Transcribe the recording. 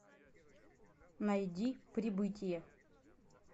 найди прибытие